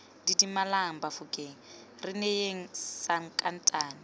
didimalang bafokeng re neyeng sankatane